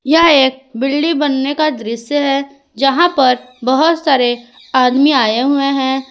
यह एक बिल्डिंग बनने का दृश्य है यहां पर बहुत सारे आदमी आए हुए हैं।